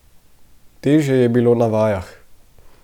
Težje je bilo na vajah.